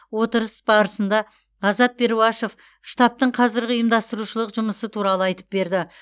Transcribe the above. отырыс барысында азат перуашев штабтың қазіргі ұйымдастырушылық жұмысы туралы айтып берді